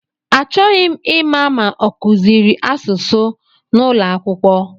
Achọghị ịma ma ọ kụziri asụsụ n'ụlọakwụkwọ